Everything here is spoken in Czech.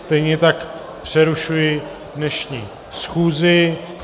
Stejně tak přerušuji dnešní schůzi.